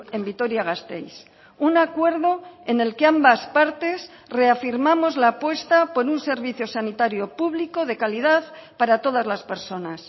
en vitoria gasteiz un acuerdo en el que ambas partes reafirmamos la apuesta por un servicio sanitario público de calidad para todas las personas